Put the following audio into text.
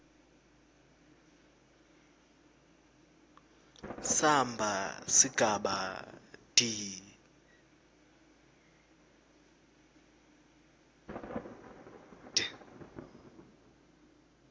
samba sigaba d